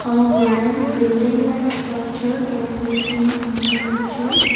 a grand building like structure can be seen in the picture.